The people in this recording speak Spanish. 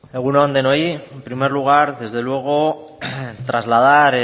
egun on denoi en primer lugar desde luego trasladar